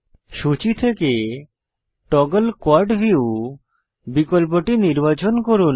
সূচী থেকে toggle quad view বিকল্পটি নির্বাচন করুন